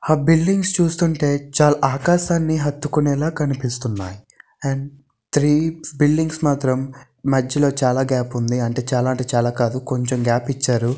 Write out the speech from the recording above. ఆ బిల్డింగ్స్ చూస్తుంటే చాలా ఆకాశాన్ని అడ్డుకునే లాగా కనిపిస్తున్నాయి. అండ్ త్రీ బిల్డింగ్స్ మాత్రం మధ్యలో చాలా మాత్రం గ్యాప్ ఉంది. చాలా అంటే చాలా కాదు కొంచెం గ్యాప్ ఇచ్చారు.